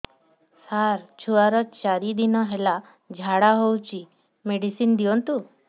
ମୋର ଛୁଆର ଚାରି ଦିନ ହେଲା ଝାଡା ହଉଚି ମେଡିସିନ ଦିଅନ୍ତୁ